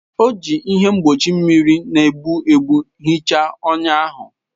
O ji ihe mgbochi mmiri na-egbu egbu hichaa ọnya ahụ.